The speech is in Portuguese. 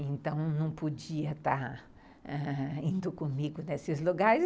Então, não podia estar indo comigo nesses lugares.